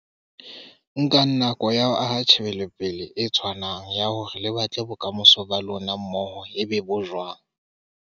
Nkang nako ya ho aha tjhebelopele e tshwanang ya hore le batla bokamoso ba lona mmoho e be bo jwang.